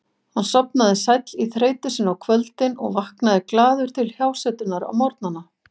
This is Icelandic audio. Hann sofnaði sæll í þreytu sinni á kvöldin og vaknaði glaður til hjásetunnar á morgnana.